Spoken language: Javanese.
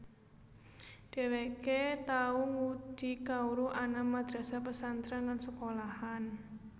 Dheweke tau ngudi kawruh ana madrasah pesantren lan sekolahan